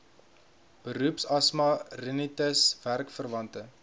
beroepsasma rinitis werkverwante